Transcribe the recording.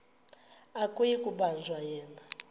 akuyi kubanjwa yena